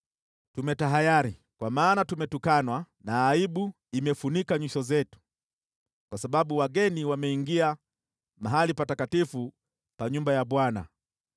“Tumetahayari, kwa maana tumetukanwa na aibu imefunika nyuso zetu, kwa sababu wageni wameingia mahali patakatifu pa nyumba ya Bwana .”